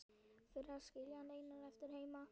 Fyrir að skilja hann einan eftir heima.